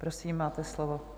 Prosím, máte slovo.